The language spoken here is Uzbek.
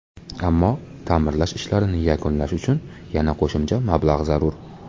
Ammo, ta’mirlash ishlarini yakunlash uchun yana qo‘shimcha mablag‘ zarur.